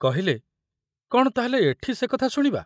କହିଲେ, କଣ ତା ହେଲେ ଏଠି ସେ କଥା ଶୁଣିବା?